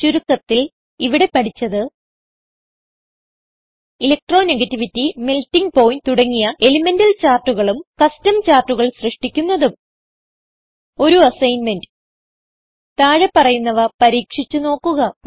ചുരുക്കത്തിൽ ഇവിടെ പഠിച്ചത് ഇലക്ട്രോണെഗേറ്റിവിറ്റി മെൽട്ടിങ് പോയിന്റ് തുടങ്ങിയ എലിമെന്റൽ ചാർട്ടുകളും കസ്റ്റം ചാർട്ടുകൾ സൃഷ്ടിക്കുന്നതും ഒരു അസൈൻമെന്റ് താഴെ പറയുന്നവ പരീക്ഷിച്ച് നോക്കുക